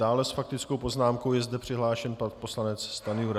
Dále s faktickou poznámkou je zde přihlášen pan poslanec Stanjura.